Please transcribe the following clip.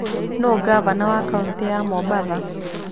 Nũũ ngavana wa kaunti ya Mombatha?